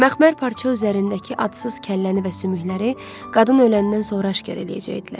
Məxmər parça üzərindəki adsız kəlləni və sümükləri qadın öləndən sonra aşkar eləyəcəkdilər.